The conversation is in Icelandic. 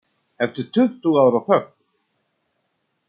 Eftir tuttugu ára þögn